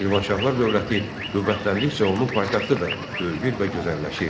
Şirvanşahlar dövləti qüvvətləndikcə onun paytaxtı da böyüyür və gözəlləşirdi.